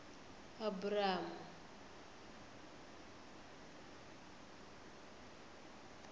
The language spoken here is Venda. abramu